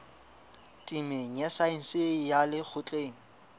temeng ya saense ya lekgotleng